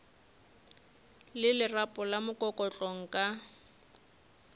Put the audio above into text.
le lerapo la mokokotlo nka